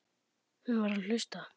Hún var að hlusta.